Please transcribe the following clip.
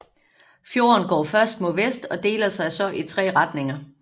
Fjorden går først mod vest og deler sig så i tre retninger